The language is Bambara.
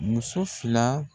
Muso fila